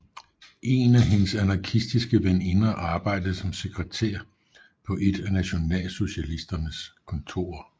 En af hendes anarkistiske veninder arbejdede som sekretær på et af nationalsocialisternes kontorer